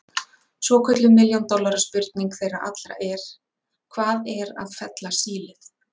Svokölluð milljón dollara spurning þeirra allra er: Hvað er að fella sílið?